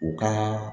U ka